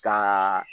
Ka